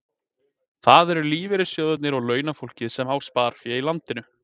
Það eru lífeyrissjóðirnir og launafólk sem á sparifé í landinu.